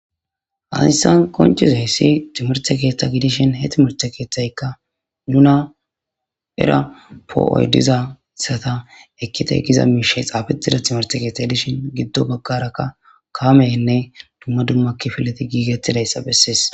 Hayssan qonccizayssi timirtte keetha gidishin he timmirte keethayka nuna era po'oy dizayssata ekite giza miishey xaafetida timmirte keetha dishin gido baggara kaameynne dumma dumma kifileti gigetidayssa besees.